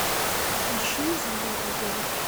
ищи изумрудный город